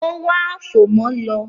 Ó wá “àfòmọ́” lọ.